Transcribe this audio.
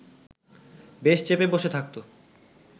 বেশ চেপে বসে থাকত